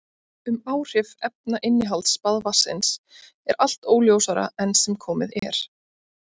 Um áhrif efnainnihalds baðvatnsins er allt óljósara enn sem komið er.